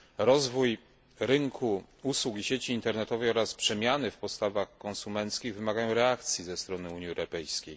Rozwój rynku usług i sieci internetowych oraz przemiany w postawach konsumenckich wymagają reakcji ze strony Unii Europejskiej.